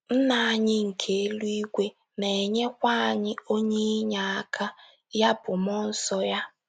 Nna anyị nke eluigwe na - enyekwa anyị “ onye inyeaka, ” ya bụ, mmụọ nsọ ya.